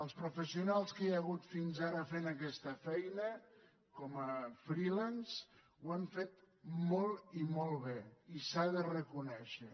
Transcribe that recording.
els professionals que hi ha hagut fins ara fent aquesta feina com a freelancemolt i molt bé i s’ha de reconèixer